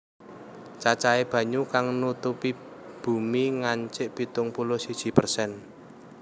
Cacahé banyu kang nutupi bumi ngancik pitung puluh siji persen